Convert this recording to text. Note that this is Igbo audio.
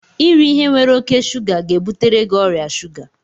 Iri ihe nwere oke shuga ga-ebutere gị ọrịa shuga